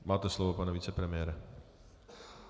Máte slovo, pane vicepremiére.